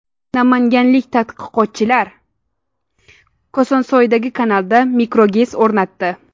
Namanganlik tadqiqotchilar Kosonsoydagi kanalda mikroGES o‘rnatdi.